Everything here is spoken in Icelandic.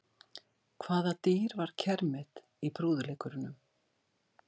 Hvaða dýr var kermit í prúðuleikurunum?